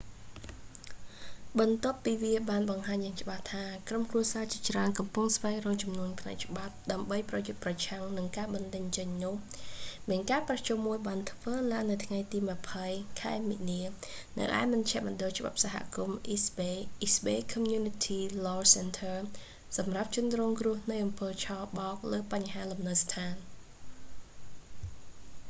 បន្ទាប់ពីវាបានបង្ហាញយ៉ាងច្បាស់ថា ក្រុមគ្រួសារជាច្រើនកំពុងស្វែងរកជំនួយផ្នែកច្បាប់ ដើម្បីប្រយុទ្ធប្រឆាំងនឹងការបណ្តេញចេញនោះ មានការប្រជុំមួយបានធ្វើឡើងនៅថ្ងៃទី 20 ខែមីនា នៅឯមជ្ឈមណ្ឌលច្បាប់សហគមន៍ អេស្ត បេយ៍ east bay community law center សម្រាប់ជនរងគ្រោះនៃអំពើឆបោកលើបញ្ហាលំនៅដ្ឋាន